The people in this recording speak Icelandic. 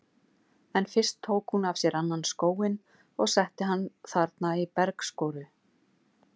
En fyrst tók hún af sér annan skóinn og setti hann þarna í bergskoru.